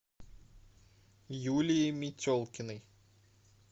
юлии метелкиной